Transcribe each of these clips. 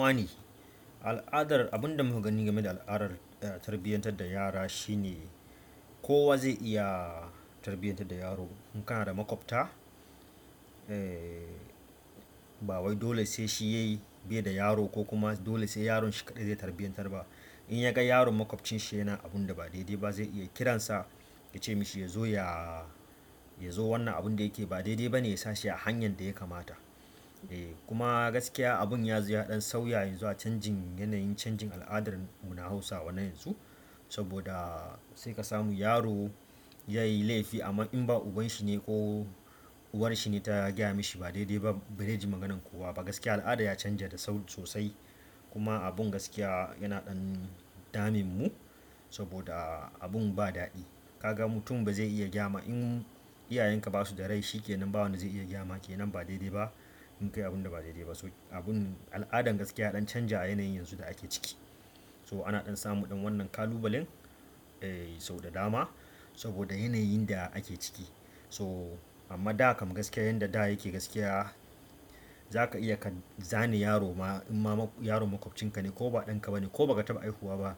Wani al'adar abun da muka gani game da al'adar tarbiyantar da yara shine kowa zai iya tarbiyantar da yaro. In kana da maƙwabta, ba wai dole sai shi yayi be da yaro ko kuma dole sai yaron shi kaɗai zai tarbiyantar ba. In ya ga yaron maƙwabcin shi yana abinda ba daidai ba, zai iya ya kiran sa ya ce mishi ya zo ya, ya zo wannan abinda ya ke yi ba daidai bane ya sa shi a hanyar abinda ya kamata kuma gaskiya abun ya zo ya ɗan sau yanzu a canjin yanayin canjin al'adar mu na Hausawa na yanzu. Saboda sai ka samu yaro ya yi laifi amma in ba uban shi ne ko uwar shi ne ta gaya mashi ba daidai ba ba zai ji maganan kowa ba. Gaskiya al'ada ya canja da sau sosai. Kuma abun gaskiya yana ɗan damun mu saboda abun ba daɗi. Ka ga mutum ba zai iya gayama in iyayen ka ba su da rai shi ke nan ba wanda zai iya gaya ma kenan ba daidai ba inn kayi abun da ba daidai ba. So abun al'adan gaskiya ya ɗan canja a yanayin yanzu da ake ciki. So ana ɗan samu ɗan wannan ƙalubalen eh sau da dama saboda yanayin da ake ciki. So amma da kam gaskiya yanda da yake gaskiya za ka iya ka zane yaro ma in ma yaro maƙwabcinka ne ko ba ɗanka ba ne ko ba ka taɓa haihuwa ba.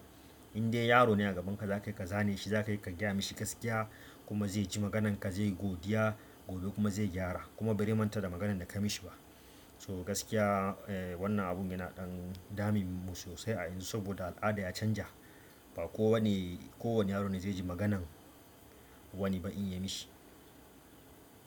In dai yaro ne a gaban ka za ka iya ka zane shi, za ka iya ka gaya ma shi gaskiya kuma zai ji maganan ka zayi godiya gobe kuma zai gyara kuma ba zai manta da maganan da ka mishi ba. So gaskiya wannan abun yana ɗan damun mu sosai a yanzu saboda al'ada ya canja. Ba kowane, kowane yaro ne zai ji maganan wani ba in ya mishi.